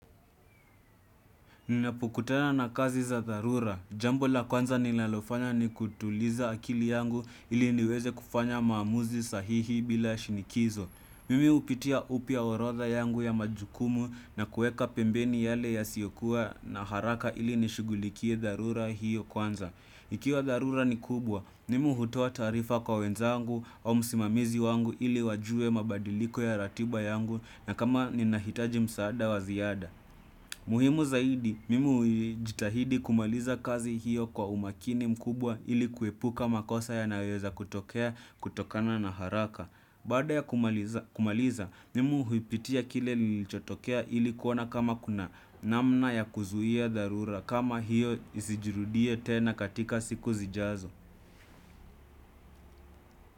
Ninapokutana na kazi za dharura. Jambo la kwanza ninalofanya ni kutuliza akili yangu ili niweze kufanya maamuzi sahihi bila shinikizo. Mimi hupitia upya orodha yangu ya majukumu na kuweka pembeni yale ya siyokuwa na haraka ili nishughulikie dharura hiyo kwanza. Ikiwa dharura ni kubwa, nimi hutoa taarifa kwa wenzangu au msimamizi wangu ili wajue mabadiliko ya ratiba yangu na kama ninahitaji msaada waziada. Muhimu zaidi, mimi hujitahidi kumaliza kazi hiyo kwa umakini mkubwa ili kuepuka makosa yanayoeza kutokea kutokana na haraka. Baada ya kumaliza kumaliza, mimi huipitia kile kilichotokea ili kuona kama kuna namna ya kuzuia dharura kama hiyo isijirudie tena katika siku zijazo.